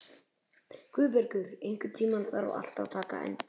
Guðbergur, einhvern tímann þarf allt að taka enda.